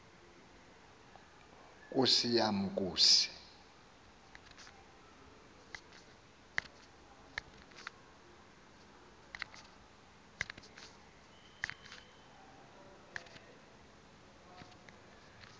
nkosi yam nkosi